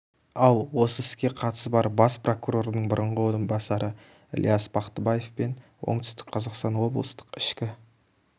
ал осы іске қатысы бар бас прокурордың бұрынғы орынбасары ілияс бақтыбаев пен оңтүстік қазақстан облыстық ішкі